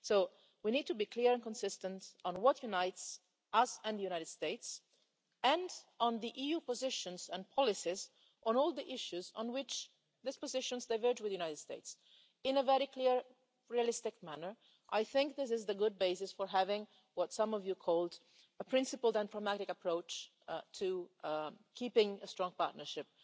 So we need to be clear and consistent on what unites us and the United States, and on the EU positions and policies on all the issues where these positions diverge with the United States, in a very clear, realistic manner. I think this is a good basis for having what some of you called a principled and pragmatic approach' to keeping a strong partnership